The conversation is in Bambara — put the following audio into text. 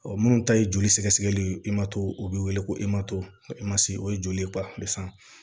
minnu ta ye joli sɛgɛsɛgɛli o bɛ wele ko o ye joli ye